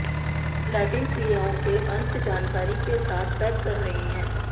Latin क्रियाओं के अंत जानकारी के साथ पैक कर रहे हैं